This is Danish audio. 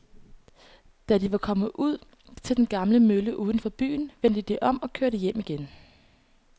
Da de var kommet ud til den gamle mølle uden for byen, vendte de om og kørte hjem igen.